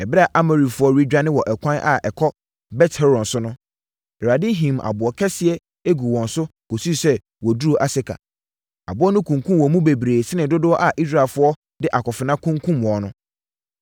Ɛberɛ a Amorifoɔ redwane wɔ ɛkwan a ɛkɔ Bet-Horon so no, Awurade himm aboɔ akɛseɛ guu wɔn so kɔsii sɛ wɔduruu Aseka. Aboɔ no kunkumm wɔn mu bebree sene dodoɔ a Israelfoɔ de akofena kunkumm wɔn no.